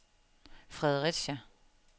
Fredericia